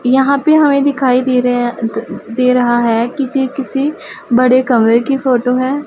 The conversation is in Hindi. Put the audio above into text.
यहां पे हमें दिखाई दे रहे हैं दे रहा है कि ये किसी बड़े कमरे की फोटो है।